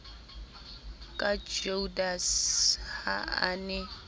ka judase ha a ne